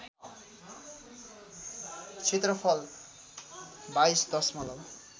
क्षेत्रफल २२ दशमलव